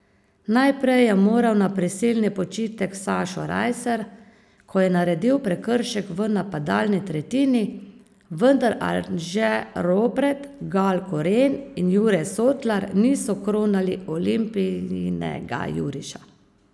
Najprej je moral na prisilni počitek Sašo Rajser, ko je naredil prekršek v napadalni tretjini, vendar Anže Ropret, Gal Koren in Jure Sotlar niso kronali Olimpijinega juriša.